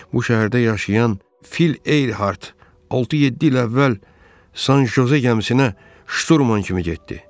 Bu şəhərdə yaşayan Fil Eyhart 6-7 il əvvəl San Joze gəmisinə şturman kimi getdi.